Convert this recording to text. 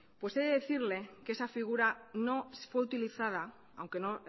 he de decirle que esa figura no fue utilizada aunque no